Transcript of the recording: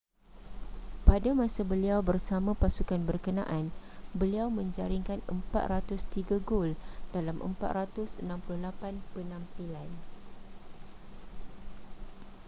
pada masa beliau bersama pasukan berkenaan beliau menjaringkan 403 gol dalam 468 penampilan